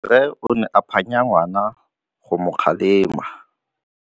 Rre o ne a phanya ngwana go mo galemela.